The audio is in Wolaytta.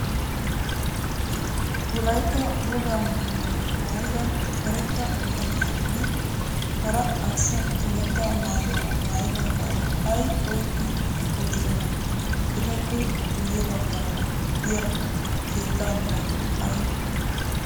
Wolaytta wogaa maayyuwaa maayyida karetta bitaniyaaranne hara arssa karetta maayyuwa maayyidaagaara ay oyqqi uttidonaa Etappe guyye baggaara diya keetta meray ayibee